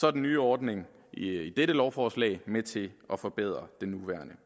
er den nye ordning i i dette lovforslag med til at forbedre den nuværende